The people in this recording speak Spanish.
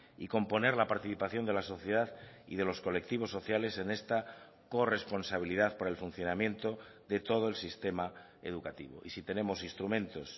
y componer la participación de la sociedad y de los colectivos sociales en esta corresponsabilidad por el funcionamiento de todo el sistema educativo y si tenemos instrumentos